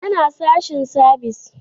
Yana sashen sabis